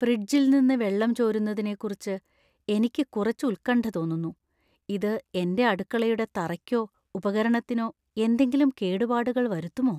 ഫ്രിഡ്ജിൽ നിന്ന് വെള്ളം ചോരുന്നതിനെക്കുറിച്ച് എനിക്ക് കുറച്ച് ഉത്കണ്ഠ തോന്നുന്നു ഇത് എന്‍റെ അടുക്കളയുടെ തറയ്ക്കോ ഉപകരണത്തിനോ എന്തെങ്കിലും കേടുപാടുകൾ വരുത്തുമോ?